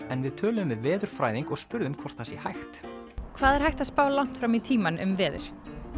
en við töluðum við veðurfræðing og spurðum hvort það sé hægt hvað er hægt að spá langt fram í tímann um veður